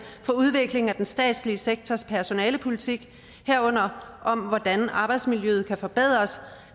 for udvikling af den statslige sektors personalepolitik herunder om hvordan arbejdsmiljøet kan forbedres